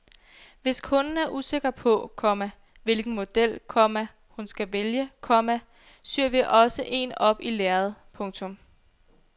Hvis kunden er usikker på, komma hvilken model, komma hun skal vælge, komma syr vi også en op i lærred. punktum